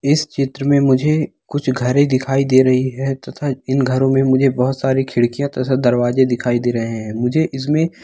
इस चित्र में मुझे कुछ घरें दिखाई दे रही हैं तथा इन घरों में मुझे बहुत सारी खिड़कियां तथा दरवाजे दिखाई दे रहे हैं मुझे इसमें--